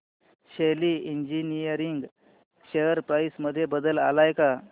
शेली engineering share price मध्ये बदल आलाय का